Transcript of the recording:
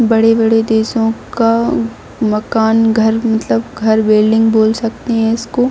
बड़े-बड़े देशों का मकान घर मतलब घर बिल्डिंग बोल सकते हैं इसको।